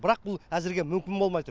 бірақ бұл әзірге мүмкін болмай тұр